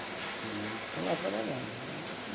Uhum, estão lá trabalhando.